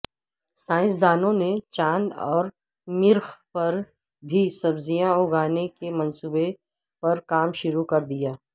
سائنسدانوں نے چاند اور مریخ پر بھی سبزیاں اگانے کے منصوبے پر کام شروع کردیا